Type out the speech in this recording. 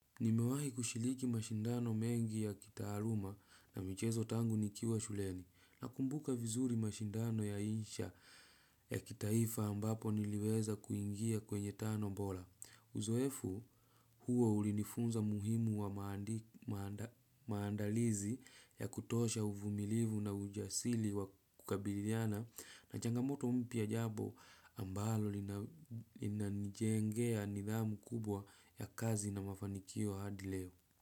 Nimewahi kushiriki mashindano mengi ya kitaaluma na michezo tangu nikiwa shuleni na kumbuka vizuri mashindano ya insha ya kitaifa ambapo niliweza kuingia kwenye tano mbora. Uzoefu huo ulinifunza muhimu wa maandalizi ya kutosha uvumilivu na ujasiri wa kukabiliana na changamoto mpya jambo ambalo linanijengea nidhamu kubwa ya kazi na mafanikio hadileo.